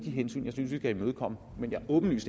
hensyn jeg synes at vi skal imødekomme men jeg